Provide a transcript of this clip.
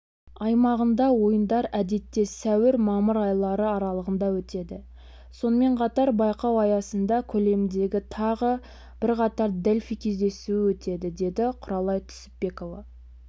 аймағында ойындар әдетте сәуір-мамыр айлары аралығында өтеді сонымен қатар байқау аясында көлеміндегі тағы бірқатар дельфий кездесуі өтеді деді құралай түсіпбекова